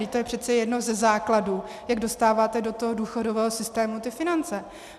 Vždyť to je přece jeden ze základů, jak dostáváte do toho důchodového systému ty finance!